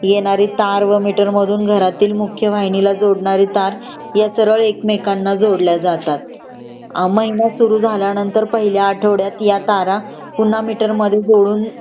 येणारी तार व मिटर मधून घरातील मुख्य वाहिनी ला जोडणारी तार ह्या सरल एक मेकांना जोडले जातात . अ महिना सुरू झाल्यानंतर पहिल्या आठवड्यात ह्या तारा पुनः मिटर मध्ये जोडून